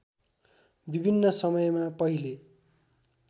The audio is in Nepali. विभिन्न समयमा पहिले